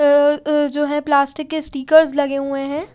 अ अ जो है प्लास्टिक के स्टीकर्स लगे हुए हैं।